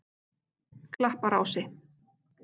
Klapparási